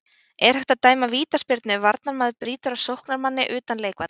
Er hægt að dæma vítaspyrnu ef varnarmaður brýtur á sóknarmanni utan leikvallar?